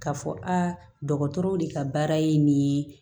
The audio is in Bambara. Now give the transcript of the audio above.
Ka fɔ a dɔgɔtɔrɔw de ka baara ye nin ye